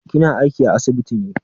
Kina aiki a asibiti ne?